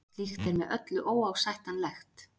Slíkt er með öllu óásættanlegt